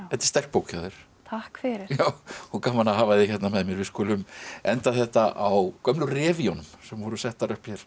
sterk bók hjá þér takk fyrir gaman að hafa þig hérna með mér við skulum enda þetta á gömlu sem voru settar upp hér